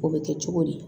O bɛ kɛ cogo di